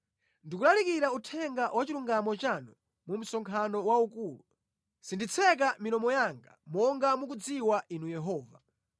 Ndikulalikira uthenga wa chilungamo chanu mu msonkhano waukulu; sinditseka milomo yanga monga mukudziwa Inu Yehova.